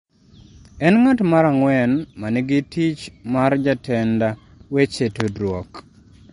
En ng’at mar ang’wen ma nigi tich mar jatend weche tudruok.